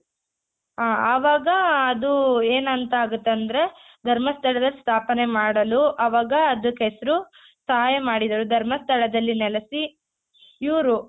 ಹ ಆವಾಗ ಅದು ಏನಂತ ಆಗುತ್ತಂದ್ರೆ ಧರ್ಮಸ್ಥಳದಲ್ಲಿ ಸ್ಥಾಪನೆ ಮಾಡಲು ಆವಾಗ ಅದುಕ್ ಹೆಸ್ರು ಸಹಾಯ ಮಾಡಿದರು ಧರ್ಮಸ್ಥಳದಲ್ಲಿ ನೆಲೆಸಿ ಇವ್ರು